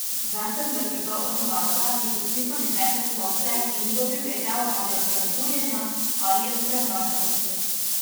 Ves sem drgetal od mraza, iz oči so mi tekle solze, in kdo bi vedel, ali od razburjenja ali od premraženosti.